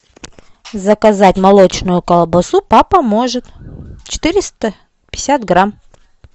заказать молочную колбасу папа может четыреста пятьдесят грамм